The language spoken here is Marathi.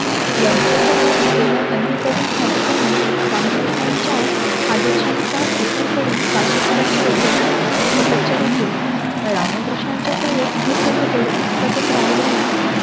यांच्या सह असलेल्या अन्य तरुण साधकांनी रामकृष्णांच्या आदरश्यांचा स्वीकार करून काशीपुराच्या उद्यानात तपश्चर्या केली. रामकृष्णांच्या सेवेत हे सर्व तरुण सतत राहिल्याने